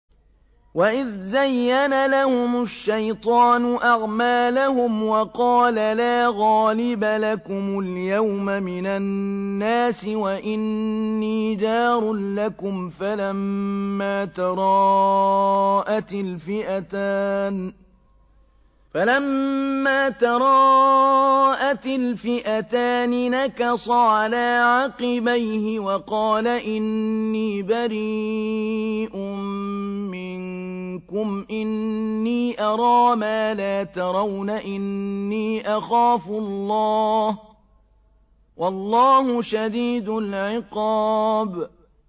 وَإِذْ زَيَّنَ لَهُمُ الشَّيْطَانُ أَعْمَالَهُمْ وَقَالَ لَا غَالِبَ لَكُمُ الْيَوْمَ مِنَ النَّاسِ وَإِنِّي جَارٌ لَّكُمْ ۖ فَلَمَّا تَرَاءَتِ الْفِئَتَانِ نَكَصَ عَلَىٰ عَقِبَيْهِ وَقَالَ إِنِّي بَرِيءٌ مِّنكُمْ إِنِّي أَرَىٰ مَا لَا تَرَوْنَ إِنِّي أَخَافُ اللَّهَ ۚ وَاللَّهُ شَدِيدُ الْعِقَابِ